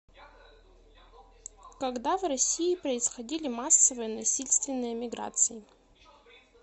когда в россии происходили массовые насильственные миграции